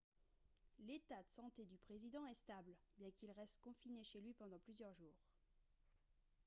l'état de santé du président est stable bien qu'il reste confiné chez lui pendant plusieurs jours